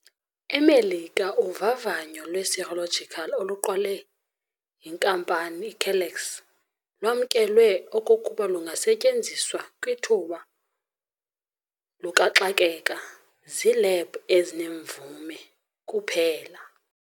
E-Merika uvavanyo lwe-serological oluqalwe yinkampani iCellex lwamkelwe okokuba lungasetyenziwa kwithuba lukaxakeka ziilebhu ezinemvume kuphela.